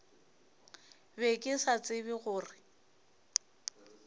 be ke sa tsebe gore